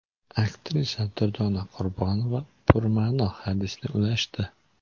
Aktrisa Durdona Qurbonova purma’no hadisni ulashdi.